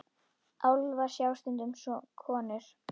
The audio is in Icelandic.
Álfa sjá stundum konur.